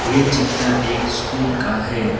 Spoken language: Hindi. ये चित्र एक स्कूल का है।